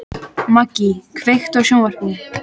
Maggý, kveiktu á sjónvarpinu.